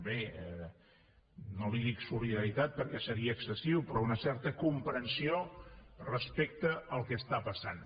bé no li dic solidaritat perquè seria excessiu però una certa comprensió respecte al que està passant